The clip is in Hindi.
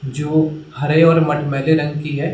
जो हरे और मटमैले रंग की है।